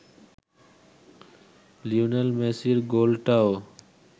Lionel মেসির গোলটাও